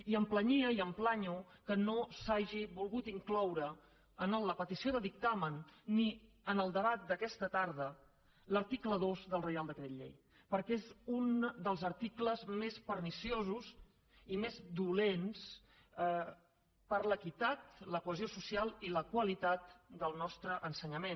i em planyia i em planyo que no s’hagi volgut incloure en la petició de dictamen ni en el debat d’aquesta tarda l’article dos del reial decret llei perquè és un dels articles més perniciosos i més dolents per a l’equitat la cohesió social i la qualitat del nostre ensenyament